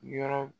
Yɔrɔ